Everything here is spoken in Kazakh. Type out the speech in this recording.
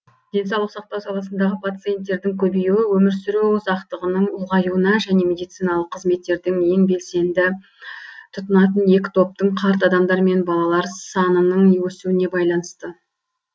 денсаулық сақтау саласындағы пациенттердің көбеюі өмір сүру ұзақтығының ұлғаюына және медициналық қызметтерді ең белсенді тұтынатын екі топтың қарт адамдар мен балалар санының өсуіне байланысты